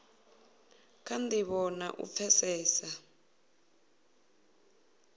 kha ndivho na u pfesesa